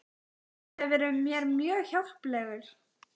Svona gátu þau haldið áfram daginn út og daginn inn.